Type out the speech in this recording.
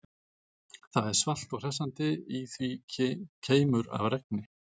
Það er svalt og hressandi, í því keimur af regni.